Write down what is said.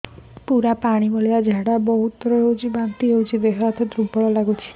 ପୁରା ପାଣି ଭଳିଆ ଝାଡା ବହୁତ ଥର ହଉଛି ବାନ୍ତି ହଉଚି ଦେହ ହାତ ଦୁର୍ବଳ ଲାଗୁଚି